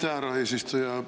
Aitäh, härra eesistuja!